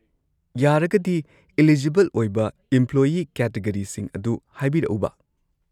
ꯌꯥꯔꯒꯗꯤ, ꯢꯂꯤꯖꯤꯕꯜ ꯑꯣꯏꯕ ꯢꯝꯄ꯭ꯂꯣꯌꯤ ꯀꯦꯇꯒꯔꯤꯁꯤꯡ ꯑꯗꯨ ꯍꯥꯏꯕꯤꯔꯛꯎꯕꯥ?